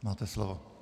Máte slovo.